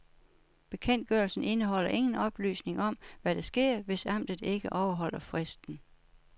Bekendtgørelsen indeholder ingen oplysning om, hvad der sker, hvis amtet ikke overholder fristen.